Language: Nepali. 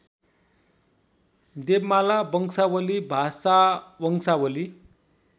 देवमाला वंशावली भाषावंशावली